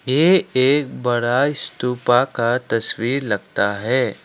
ए एक बड़ा स्तूपा का तस्वीर लगता है।